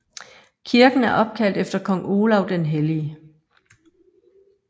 Kirken er opkaldt efter kong Olav den Hellige